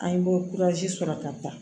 An ye sɔrɔ ka taa